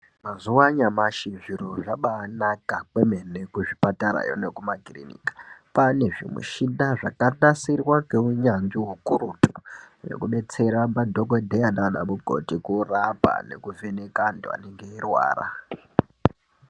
Mazuwa anyamashi zviro zvabanaka kwemene kuzvipatarayo nekumakiriniki kwane zvimuchina zvakanasirwa ngeunyanzvi ukurutu zvekudetsera madhokodheya nanamukoti kurapa nekuvheneka antu anenge eirwara.